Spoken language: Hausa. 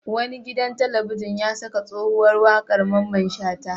Wani gidan talabijin ya saka tsohuwar waƙar Mamman Shata.